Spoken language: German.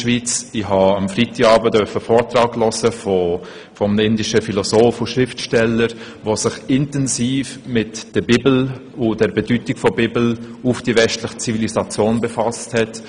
Ich durfte am Freitagabend den Vortrag eines indischen Philosophen und Schriftstellers anhören, der sich intensiv mit der Bibel und ihrer Bedeutung für die westliche Zivilisation befasst hat.